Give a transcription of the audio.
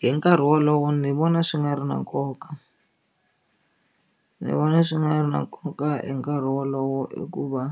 Hi nkarhi wolowo ni vona swi nga ri na nkoka ni vona swi nga ri na nkoka hi nkarhi wolowo hikuva